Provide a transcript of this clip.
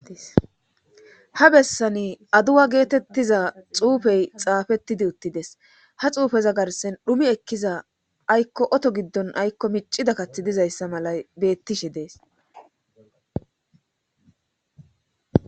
ha bessani aduwa geetettiza xuufey xaafettidi uttides ha xuufeza garsen dhumi ekkiza aykko oto giddon aykko miccida kathi dizayssa mala bettishe dees